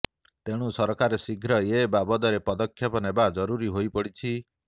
ତେଣୁ ସରକାର ଶୀଘ୍ର ଏ ବାବଦରେ ପଦକ୍ଷେପ ନେବା ଜରୁରୀ ହୋଇପଡ଼ିଛି